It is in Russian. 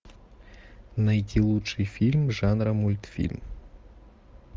найти лучший фильм жанра мультфильм